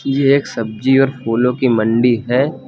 ये एक सब्जी और फूलों की मंडी है।